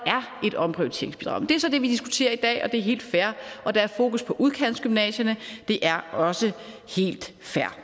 er et omprioriteringsbidrag det er så det vi diskuterer i dag og det er helt fair og der er fokus på udkantsgymnasierne det er også helt fair